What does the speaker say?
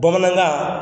Bamanankan